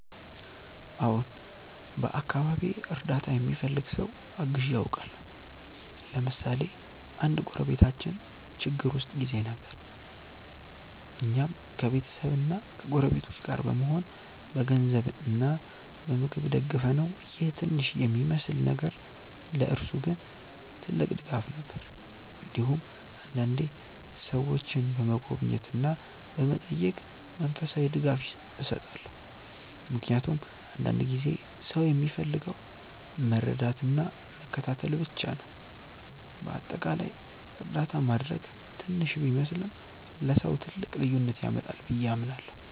አዎን፣ በአካባቢዬ እርዳታ የሚፈልግ ሰው አግዤ አውቃለሁ። ለምሳሌ አንድ ጎረቤታችን ችግር ውስጥ ጊዜ ነበር፣ እኛም ከቤተሰብና ከጎረቤቶች ጋር በመሆን በገንዘብ እና በምግብ ደገፍነው ይህ ትንሽ የሚመስል ነገር ለእርሱ ግን ትልቅ ድጋፍ ነበር። እንዲሁም አንዳንዴ ሰዎችን በመጎብኘት እና በመጠየቅ መንፈሳዊ ድጋፍ እሰጣለሁ፣ ምክንያቱም አንዳንድ ጊዜ ሰው የሚፈልገው መረዳትና መከታተል ብቻ ነው። በአጠቃላይ እርዳታ ማድረግ ትንሽ ቢመስልም ለሰው ትልቅ ልዩነት ያመጣል ብዬ አምናለሁ።